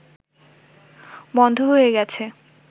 বন্ধ হয়ে গেছে